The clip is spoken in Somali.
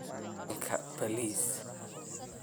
maku jecli helka Bariis